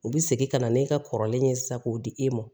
U bɛ segin ka na n'e ka kɔrɔlen ye sisan k'o di e ma